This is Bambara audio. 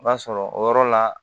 I b'a sɔrɔ o yɔrɔ la